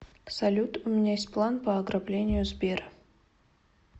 салют у меня есть план по ограблению сбера